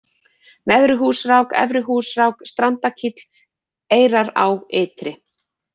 Neðri-Húsrák, Efri-Húsrák, Strandakíll, Eyrará ytri